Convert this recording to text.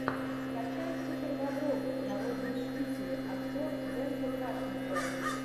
скачай супербобровы народные мстители актер дензел вашингтон